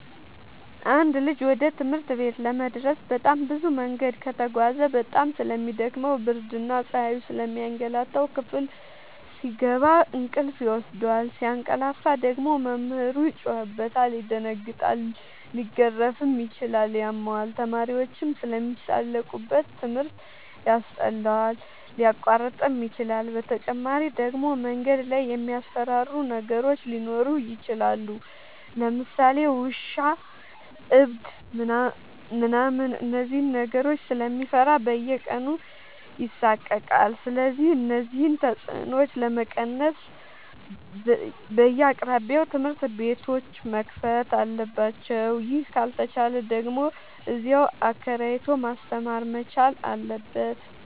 አንድ ልጅ ወደ ትምህርት ቤት ለመድረስ በጣም ብዙ መንገድ ከተጓዘ በጣም ስለሚ ደክመው ብርድና ፀሀዩ ስለሚያገላታው። ክፍል ሲገባ እንቅልፍ ይወስደዋል። ሲያቀላፍ ደግሞ መምህሩ ይጮህበታል ይደነግጣል ሊገረፍም ይችላል ያመዋል፣ ተማሪዎችም ስለሚሳለቁበት ትምህርት ያስጠላዋል፣ ሊያቋርጥም ይችላል። በተጨማሪ ደግሞ መንገድ ላይ የሚያስፈራሩ ነገሮች ሊኖሩ ይችላሉ ለምሳሌ ውሻ እብድ ምናምን እነዚህን ነገሮች ስለሚፈራ በየቀኑ ይሳቀቃል። ስለዚህ እነዚህን ተፅኖዎች ለመቀነስ በየአቅራቢያው ትምህርት ቤቶዎች መከፈት አለባቸው ይህ ካልተቻለ ደግሞ እዚያው አከራይቶ ማስተማር መቻል አለበት።